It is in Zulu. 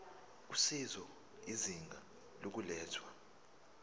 usizo izinga lokulethwa